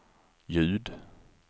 ljud